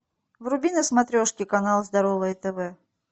вруби на смотрешке канал здоровое тв